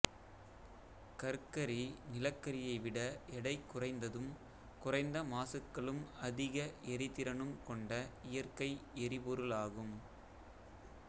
கற்கரி நிலக்கரியை விட எடை குறைந்ததும் குறைந்த மாசுக்களும் அதிக எரிதிறனும் கொண்ட இயற்கை எரிபொருளாகும்